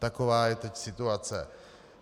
Taková je teď situace.